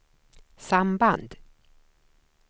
samband